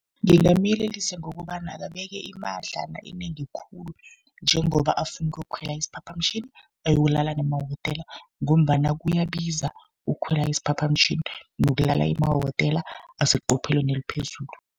Ngingamyelelisa ngokobana akabeke imadlana enengi khulu, njengoba afuna ukuyokukhwela isiphaphamtjhini ayokulala nemahotela, ngombana kuyabiza ukukhwela isiphaphamtjhini nokulala emahotela aseqophelweni eliphezulu.